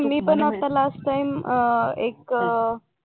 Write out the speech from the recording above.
नाही मी पण आता लास्ट टाईम अं एक